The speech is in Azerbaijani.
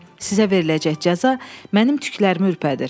Sizə veriləcək cəza mənim tüklərimi ürpədir.